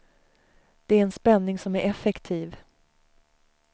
Det är en spänning som är effektiv.